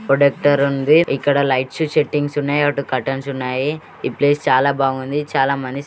ప్రోడెక్టర్ ఉంది. ఇక్కడ లైట్ లు సెట్టింగ్స్ ఉన్నాయి. అటు కర్టెన్స్ ఉన్నాయి. ఈ ప్లేస్ చాల బాగుంది చాల మం--